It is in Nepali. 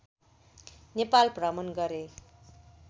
नेपाल भ्रमण गरे